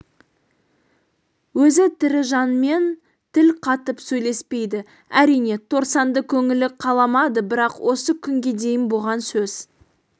өзі тірі жанмен тіл қатып сөйлеспейді әрине торсанды көңілі қаламады бірақ осы күнге дейін бұған сөз